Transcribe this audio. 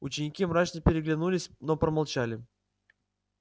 ученики мрачно переглянулись но промолчали